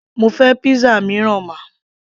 mo fẹ́ pizza mìíràn ma